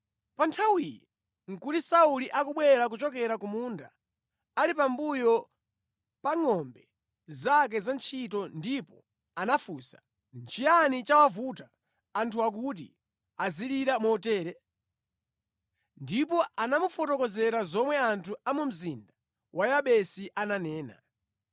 Pa nthawiyo nʼkuti Sauli akubwera kuchokera ku munda, ali pambuyo pa ngʼombe zake za ntchito ndipo anafunsa. “Nʼchiyani chawavuta anthuwa kuti azilira motere?” Ndipo anamufotokozera zomwe anthu a mu mzinda wa Yabesi ananena.